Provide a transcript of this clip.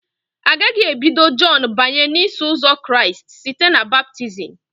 Agaghị ebido Jọn banye n'Iso Ụzọ Kraịst site na baptizim.